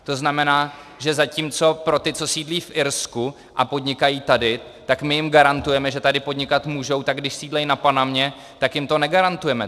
To znamená, že zatímco pro ty, co sídlí v Irsku a podnikají tady, tak my jim garantujeme, že tady podnikat můžou, a když sídlí na Panamě, tak jim to negarantujeme.